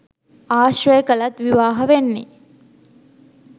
ආශ්‍රය කළත් විවාහ වෙන්නෙ